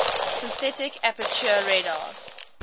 synthetic aperture radar